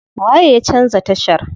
Waye ya canza tashar?